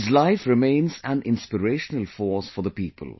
His life remains an inspirational force for the people